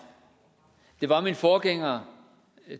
det var min forgænger